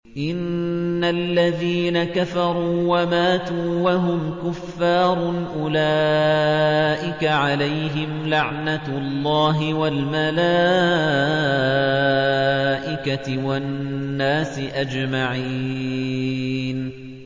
إِنَّ الَّذِينَ كَفَرُوا وَمَاتُوا وَهُمْ كُفَّارٌ أُولَٰئِكَ عَلَيْهِمْ لَعْنَةُ اللَّهِ وَالْمَلَائِكَةِ وَالنَّاسِ أَجْمَعِينَ